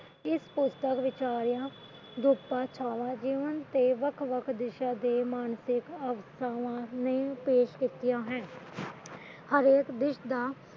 ਇਸ ਪੁੁਸਤਕ ਵਿਚਾਲਿਆ ਜੀਵਨ ਦੇ ਵੱਖ ਵੱਖ ਦਿਸ਼ਾ ਤੇ ਮਾਨਸਿਕ ਅਵਸਥਾਵਾ ਚੁਕਿਆ ਹੈ ਹਰੇਕ ਦਿਲ ਦਾ